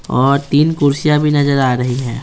और तीन कुर्सियाँ भी नजर आ रही हैं।